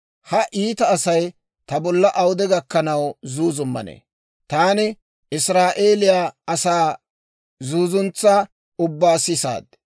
«Ha iita Asay ta bolla awude gakkanaw zuuzummanee? Taani Israa'eeliyaa asaa zuuzuntsaa ubbaa sisaad.